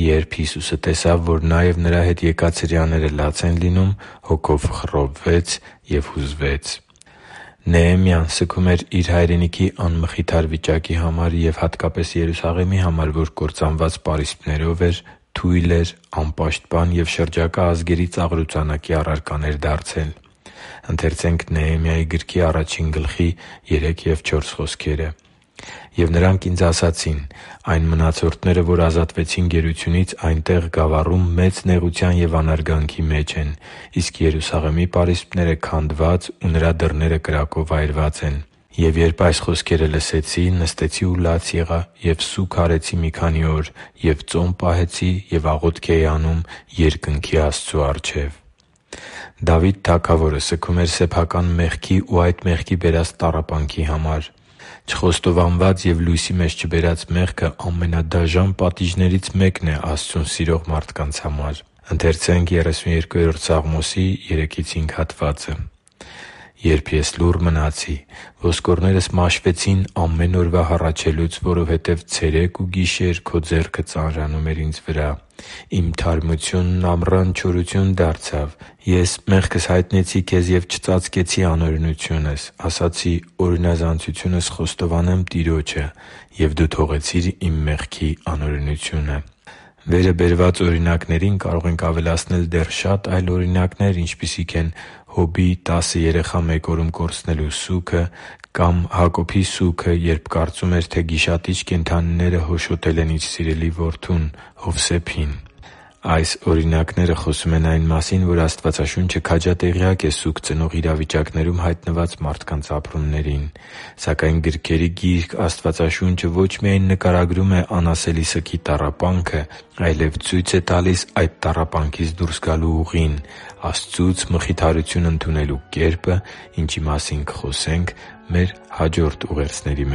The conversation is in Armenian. «Երբ Հիսուսը տեսավ, որ նա և նրա հետ եկած հրեաները լաց են լինում, հոգով խռովվեց և հուզվեց» (Հովհաննես 11․33) Նեեմիան սգում էր իր հայրենիքի անմխիթար վիճակի համար և, հատկապես, Երուսաղեմի համար, որ կործանված պարիսպներով էր, թույլ էր, անպաշտպան և շրջակա ազգերի ծաղրուծանակի առարկան էր դարձել․ «Եվ նրանք ինձ ասացին. «Այն մնացորդները, որ ազատվեցին գերությունից, այնտեղ՝ գավառում, մեծ նեղության և անարգանքի մեջ են, իսկ Երուսաղեմի պարիսպները քանդված, ու նրա դռները կրակով այրված են»։ Եվ երբ որ այս խոսքերը լսեցի, նստեցի ու լաց եղա և սուգ արեցի մի քանի օր. և ծոմ պահեցի ու աղոթք էի անում երկնքի Աստծու առջև» (Նեեմիա 1․3-4): Դավիթ թագավորը սգում էր սեփական մեղքի ու այդ մեղքի բերած տառապանքի համար։ Չխոստովանված և լույսի մեջ չբերած մեղքը ամենադաժան պատիժներից մեկն է Աստծուն սիրող մարդկանց համար: «Երբ ես լուռ մնացի, ոսկորներս մաշվեցին ամեն օրվա հառաչելուց, Որովհետև ցերեկ ու գիշեր Քո ձեռքը ծանրանում էր ինձ վրա. իմ թարմությունն ամռան չորություն դարձավ։ Ես մեղքս հայտնեցի Քեզ և չծածկեցի անօրենությունս. ասացի. «Օրինազանցությունս խոստովանեմ Տիրոջը». և Դու թողեցիր իմ մեղքի անօրենությունը» (Սաղմոս 32.3-5): Վերը բերված օրինակներին կարող ենք ավելացնել դեռ շատ այլ օրինակներ, ինչպիսիք են Հոբի՝ տասը երեխա մեկ օրում կորցնելու սուգը կամ Հակոբի սուգը, երբ կարծում էր, թե գիշատիչ կենդանիները հոշոտել են իր սիրելի որդուն՝ Հովսեփին․․․ Այս օրինակները խոսում են այն մասին, որ Աստվածաշունչը քաջատեղյակ է սուգ ծնող իրավիճակներում հայտնված մարդկանց ապրումներից։ Սակայն գրքերի Գիրք Աստվածաշունչը ոչ միայն նկարագրում է անասելի սգի տառապանքը, այլև ցույց է տալիս այդ տառապանքից դուրս գալու ուղին՝ Աստծուց մխիթարություն ընդունելու կերպը, ինչի մասին կխոսենք մեր հաջորդ ուղերձների